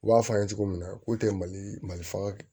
U b'a fɔ an ye cogo min na k'u tɛ mali mali faa